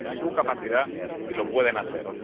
Está en su capacidad y lo pueden hacer.